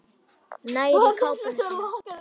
Nær í kápuna sína.